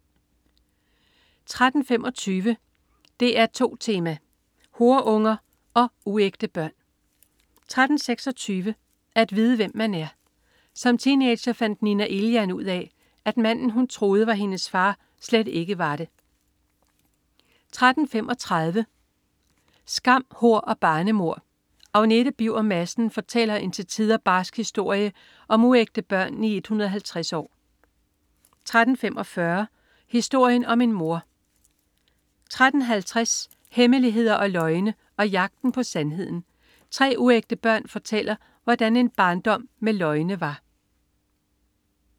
13.25 DR2 Tema: Horeunger og uægte børn 13.26 At vide hvem man er. Som teenager fandt Nina Elian ud af, at manden, hun troede var hendes far, slet ikke var det 13.35 Skam, hor og barnemord. Agnete Birger Madsens fortæller en til tider barsk historie om uægte børn i 150 år 13.45 Historien om en mor 13.50 Hemmeligheder og løgne og jagten på sandheden. Tre uægte børn fortæller, hvordan en barndom med løgne